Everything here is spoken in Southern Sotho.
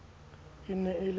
e ne e le ntsho